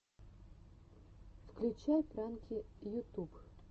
включай пранки ютуб